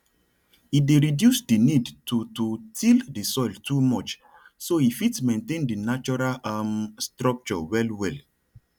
e dey reduce di need to to till di soil too much so e fit maintain di natural um structure well well